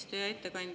Aitäh, hea eesistuja!